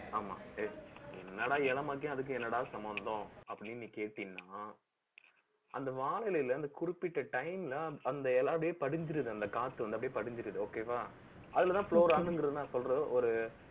ஆமா, என்னடா இளமைக்கும் அதுக்கும் என்னடா சம்மந்தம் அப்படின்னு நீ கேட்டீன்னா அந்த வானிலையிலே அந்த குறிப்பிட்ட time ல, அந்த இலை அப்படியே படிஞ்சிருது. அந்த காத்து வந்து, அப்படியே படிஞ்சிருது. okay வா அதுலதான் சொல்ற ஒரு